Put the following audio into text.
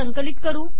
संकिलत करू